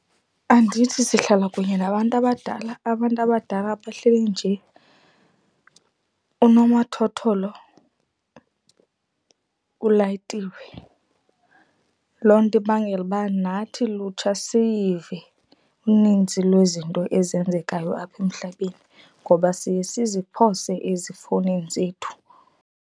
Andithi sihlala kunye nabantu abadala? Abantu abadala bahleli nje unomathotholo ulayitiwe. Loo nto ibangela uba nathi lutsha siyive unintsi lwezinto ezenzekayo apha emhlabeni ngoba siye siziphose ezifowunini zethu.